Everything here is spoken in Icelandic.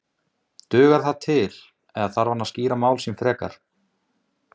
Heimir Már: Dugar það til eða þarf hann að skýra mál sín frekar?